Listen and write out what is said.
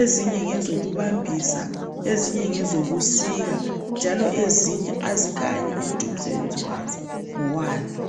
ezinye ngezokubambisa ezinye ngezokusika njalo ezinye azikhanyi ukuthi umsebenzi wazo ngowani.